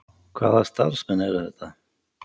Hvaða starfsmenn eru þetta?